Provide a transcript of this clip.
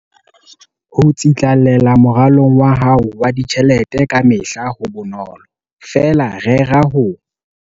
Ho tsitlallela moralong wa hao wa ditjhelete kamehla ha ho bonolo, feela rera ho.